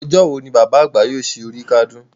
Ọjọ́ wo ni Bàbá àgbà yóò ṣe oríkádún?